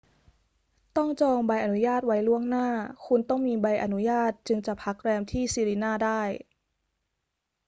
ต้องจองใบอนุญาตไว้ล่วงหน้า คุณต้องมีใบอนุญาตจึงจะพักแรมที่ sirena ได้